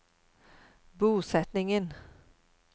bosetningen